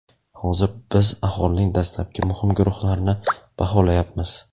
Hozir biz aholining dastlabki muhim guruhlarini baholayapmiz.